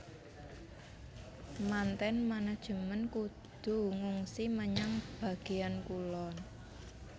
Manten manajemen kudu ngungsi menyang bagéan kulon